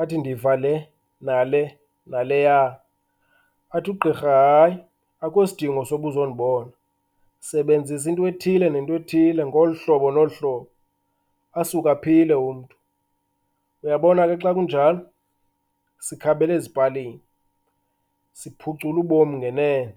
athi ndiva le nale naleya. Athi ugqirha hayi, akho sidingo soba uzondibona, sebenzisa intwethile nentwethile ngolu hlobo nolu hlobo, asuke aphile umntu. Uyabona ke xa kunjalo sikhabela ezipalini, siphucula ubomi ngenene.